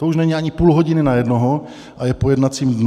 To už není ani půl hodiny na jednoho a je po jednacím dnu.